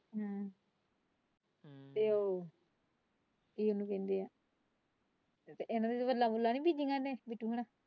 ਗੱਲਾਂ ਕਰੀ ਤੇ ਉਹ ਇਹਨਾਂ ਨੇ ਗੱਲਾਂ ਗੱਲੋ ਨਹੀਂ ਕੀਤੀਆਂ।